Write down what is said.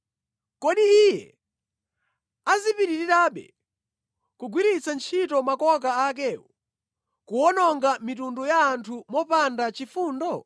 Kodi iye azipitirabe kugwiritsa ntchito makoka akewo, kuwononga mitundu ya anthu mopanda chifundo?